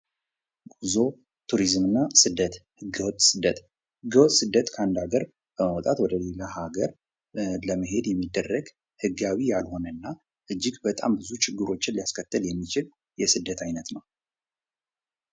ጉዞ፤ ትሪዝም እና ሰደት፦ ህገ ወጥ ስደት፦ ህገ ወጥ ስደር ከአንድ ሀገር በመዉጣት ወደ ሌላ ሀገር ለመሄድ ህጋዊ ያልሆነ እና እጅግ በጣም ብዙ ችግሮችን ሊያስከትል የሚችል የስደት አይነት ነው።